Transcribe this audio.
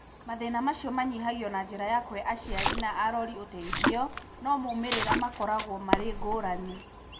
Mathĩna macio manyihagio na njĩra ya kũhe aciari na arori ũteithio, no moimĩrĩra makoragwo marĩ ngũrani.